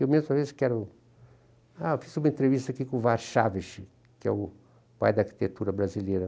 Eu mesmo, às vezes, quero... Ah, eu fiz uma entrevista aqui com o Warchavchik , que é o pai da arquitetura brasileira.